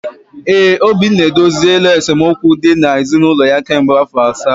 ee, Obinna edoziela esemokwu dị na ezinụlọ ya ka mgbe afọ asaa.